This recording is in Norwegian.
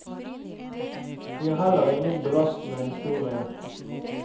Vi har heller ingen belastende historie.